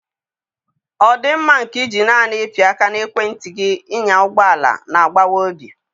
Ọdịmma nke iji naanị ịpị aka na ekwentị gị ịnya ụgbọ na-agbawa obi.